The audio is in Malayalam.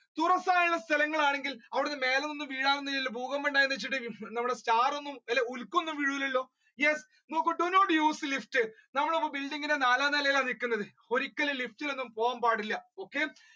തുറസ്സായ സ്ഥലങ്ങളാണെങ്കിൽ അവിടന്ന് മേലെ നിന്ന് വീഴാൻ ഒന്നുല്ലല്ലോ ഭൂകമ്പം ഉണ്ടായെന്നുവെച്ചിട്ട് ഹും നമ്മളെ star ഒന്നും ഉൽക്ക ഒന്നും വീഴൂലല്ലോ yes നോക്കൂ do not use lift നമ്മളിപ്പോ building ന്റെ നാലാം നിലയിലാണ് നിൽക്കുന്നത് ഒരിക്കലും lift ഒന്നും പോകാൻ പാടില്ല okay.